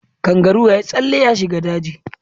Kangaroo ya yi tsalle ya shiga daji.